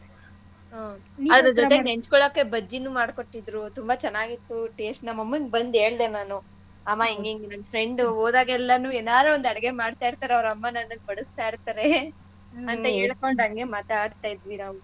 ಹ್ಮ್ ಅದ್ರದ್ ಜೊತೆ ನೆಂಚ್ಕೊಳಕ್ಕೆ ಬಜ್ಜಿನೂ ಮಾಡ್ಕೊಟ್ಟಿದ್ರು ತುಂಬಾ ಚೆನ್ನಾಗಿತ್ತು taste ನಮ್ಮಮ್ಮಂಗ್ ಬಂದ್ ಹೇಳ್ದೆ ನಾನು ಅಮ್ಮ ಹಿಂಗಿಂಗ್ ನನ್ friend ಉ ಹೋದಾಗೆಲ್ಲನೂ ಏನಾರ ಒಂದು ಅಡ್ಗೆ ಮಾಡ್ತಾಇರ್ತಾರೆ ಅವ್ರ್ ಅಮ್ಮ ನನ್ಗೆ ಬಡಸ್ತಾ ಇರ್ತಾರೆ ಅಂತ ಹೇಳ್ಕೊಂಡ್ ಹಂಗೆ ಮಾತಾಡ್ತಾ ಇದ್ವಿ ನಾವು.